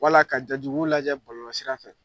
Wala ka ja jugu lajɛ bɔlolɔsira fɛ.